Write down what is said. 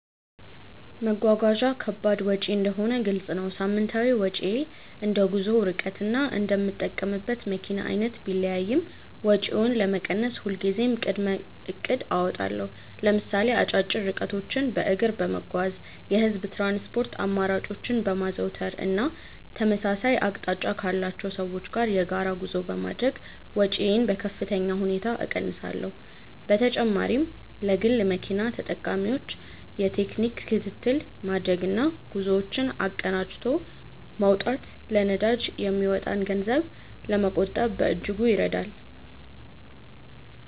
መጓጓዣ ከባድ ወጪ እንደሆነ ግልጽ ነው። ሳምንታዊ ወጪዬ እንደ ጉዞው ርቀትና እንደምጠቀምበት መኪና አይነት ቢለያይም፣ ወጪውን ለመቀነስ ሁልጊዜም ቅድመ እቅድ አወጣለሁ። ለምሳሌ አጫጭር ርቀቶችን በእግር በመጓዝ፣ የህዝብ ትራንስፖርት አማራጮችን በማዘውተር እና ተመሳሳይ አቅጣጫ ካላቸው ሰዎች ጋር የጋራ ጉዞ በማድረግ ወጪዬን በከፍተኛ ሁኔታ እቀንሳለሁ። በተጨማሪም ለግል መኪና ተጠቃሚዎች የቴክኒክ ክትትል ማድረግና ጉዞዎችን አቀናጅቶ መውጣት ለነዳጅ የሚወጣን ገንዘብ ለመቆጠብ በእጅጉ ይረዳል።